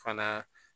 Fana